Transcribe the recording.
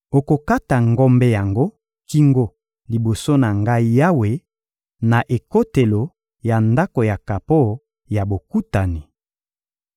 Okokata ngombe yango kingo liboso na Ngai Yawe, na ekotelo ya Ndako ya kapo ya Bokutani.